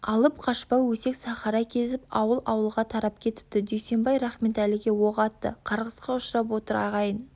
алып қашпа өсек сахара кезіп ауыл-ауылға тарап кетіпті дүйсенбай рахметәліге оқ атты қарғысқа ұшырап отыр ағайын